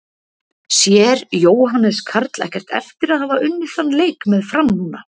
Sér Jóhannes Karl ekkert eftir að hafa unnið þann leik með Fram núna?